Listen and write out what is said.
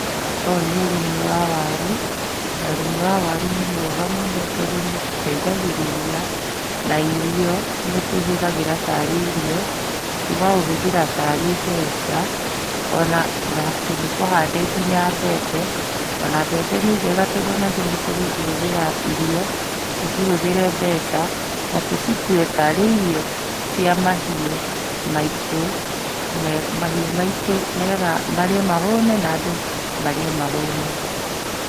Ũyũ nĩ ũrĩmi wa waru, na ũrĩmi wa waru nĩ mwega mũno tondũ nĩ ũtũ teithagĩrĩria, na irio ,nĩtũhũthagĩra tarĩ irio, tũkaũhũthĩra tarĩ mbeca, ona nĩkũhande nginya mbembe, ona mbembe nĩ njega tondũ nginya nĩtũkũ cihũthĩra irio, tũcihũthĩre mbeca, na tũcitue tarĩ irio, cia mahiũ maitũ, mahiũ maitũ nĩgetha marĩe mahũne, na andũ marĩe mahũne.